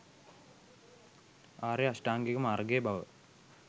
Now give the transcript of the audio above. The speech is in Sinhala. ආර්ය අෂ්ටාංගික මාර්ගය බව